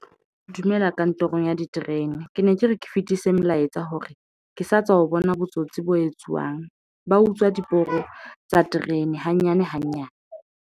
Dumela kantorong ya diterene ke ne ke re, ke fetise molaetsa hore ke sa tswa ho bona botsotsi bo etsuwang ba utswa diporo tsa terene hanyane hanyane.